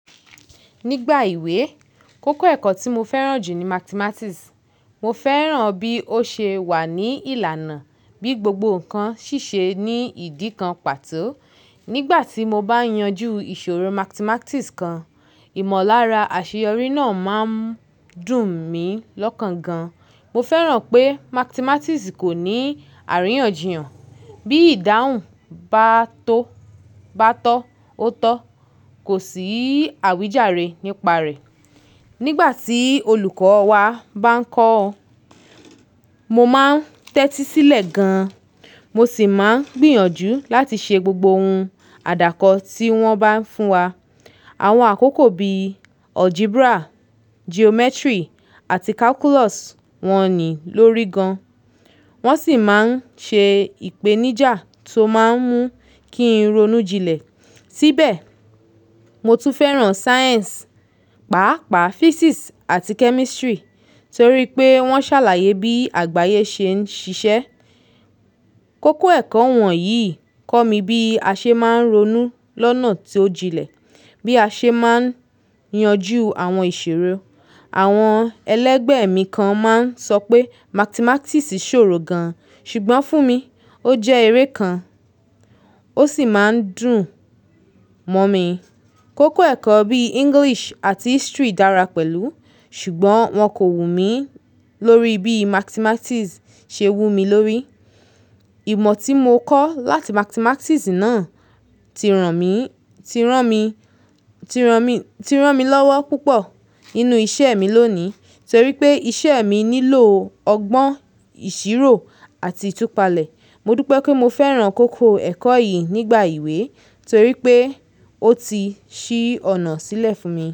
Nígbà ìwé, koko ẹ̀kọ́ tí mo fẹ́ràn jù ní Mathematics. Mo fẹ́ràn bí ó ṣe wà ní ìlànà, bí gbogbo ǹkan ṣíṣe ní ìdí kan pàtó. Nígbà tí mo bá yanjú ìṣòro Mathematics kan, ìmọ̀lára àṣeyọrí náà máa ń dùn mí lọ́kàn gan. Mo fẹ́ràn pé Mathematics kò ní àríyànjiyàn, bí ìdáhùn bá tó, bá tọ́, ó tọ́. Kò sí àwíjàre nípa rẹ̀. Nígbà tí olùkọ́ wa bá ń kọ́, mo máa ń tẹ́tí sílẹ̀ gan, mo sì máa ń gbìyànjú láti ṣe gbogbo ohun àdàkọ́ tí wọ́n bá fún wa. Àwọn àkókò bí Algebra, Geometry àti Calculus wọ́n ní lórí gan. Wọ́n sì máa ń ṣe ìpèníjà tó máa ń mú kí n ronú jinlẹ̀. Síbẹ̀, mo tún fẹ́ràn Science, pàápàá Physics àti Chemistry torí pé wọ́n ṣàlàyé bí àgbáyé ṣe ń ṣiṣẹ́. Koko ẹ̀kọ́ wọ̀nyí kọ́ mi bí a ṣe máa ń ronú lọ́nà tó jinlẹ̀, bí a ṣe máa ń yanjú àwọn ìṣòro. Àwọn ẹlẹ́gbẹ̀ mi kan máa ń sọ pé Mathematics sòrò gan, ṣùgbọ́n fún mi, ó jẹ́ eré kan, ó sì máa ń dùn mọ́ mi. Koko ẹ̀kọ́ bí English àti History dára pẹ̀lú, ṣùgbọ́n wọn kò wù mí lórí bí Mathematics ṣe wù mí lórí. Ìmọ̀ tí mo kọ́ láti Mathematics náà ti ràn mí, ti rán mi, ti ràn mí, ti rán mi lọ́wọ́ púpọ̀ nínú iṣẹ́ mi lóní torí pé iṣẹ́ mi nílò ọgbọ́n, ìṣirò àti ìtúpalẹ̀. Mo dupe pé mo fẹ́ràn koko ẹ̀kọ́ yì nígbà ìwé torí pé ó ti ṣí ọ̀nà sílẹ̀ fún mi.